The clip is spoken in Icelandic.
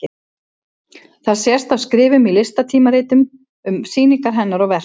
Það sést af skrifum í listatímaritum um sýningar hennar og verk.